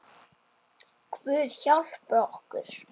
Guð hjálpi okkur.